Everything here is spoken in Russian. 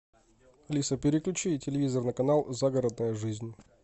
алиса переключи телевизор на канал загородная жизнь